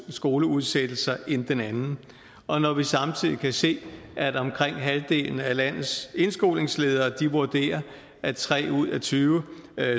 skoleudsættelser end den anden og når vi samtidig kan se at omkring halvdelen af landets indskolingsledere vurderer at tre ud af tyve